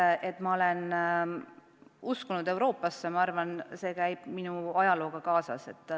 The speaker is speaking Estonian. See, et ma olen uskunud Euroopasse, käib ehk minu ajalooga kaasas.